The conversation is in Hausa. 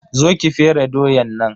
Zo ki fere doyan nan.